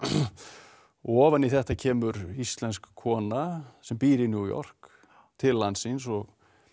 ofan í þetta kemur íslensk kona sem býr í New York til landsins og